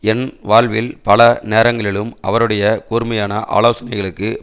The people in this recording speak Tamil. என் வாழ்வில் பல நேரங்களிலும் அவருடைய கூர்மையான ஆலோசனைகளுக்கு